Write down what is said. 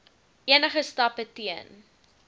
enige stappe teen